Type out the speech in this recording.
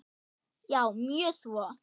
Já, mjög svo.